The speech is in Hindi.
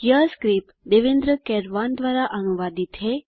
यह स्क्रिप्ट देवेन्द्र कैरवान द्वारा अनुवादित है